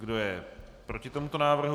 Kdo je proti tomuto návrhu?